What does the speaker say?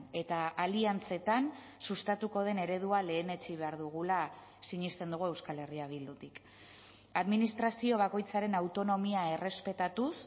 eta aliantzetan sustatuko den eredua lehenetsi behar dugula sinesten dugu euskal herria bildutik administrazio bakoitzaren autonomia errespetatuz